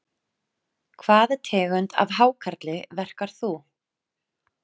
Hvaða tegund af hákarli verkar þú?